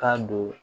Ka don